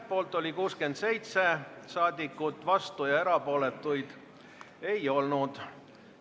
Poolt oli 67 saadikut, vastuolijaid ega erapooletuid ei olnud.